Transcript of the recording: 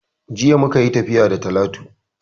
Jiya muka yi tafiya da Talatu